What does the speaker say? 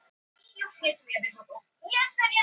Þess háttar sál væri ljóslega ekki til án líkamans.